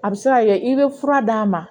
A bɛ se ka kɛ i bɛ fura d'a ma